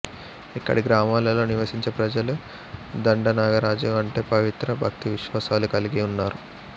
ఇక్కడి గ్రామాలలో నివసించే ప్రజలు దండనాగరాజు అంటే పవిత్ర భక్తివిశ్వాసాలు కలిగి ఉన్నారు